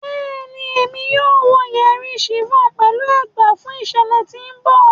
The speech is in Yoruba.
Bẹẹni, Emi yoo wọ yeri chiffon pẹlu ẹgba fun iṣẹlẹ ti n bọ